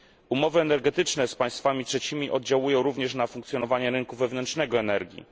Umowy energetyczne z państwami trzecimi oddziaływują również na funkcjonowanie rynku wewnętrznego energii.